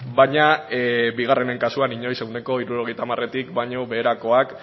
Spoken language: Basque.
baina bigarrenen kasuan inoiz ehuneko hirurogeita hamaretik baino beherakoak